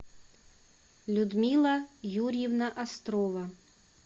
людмила юрьевна острова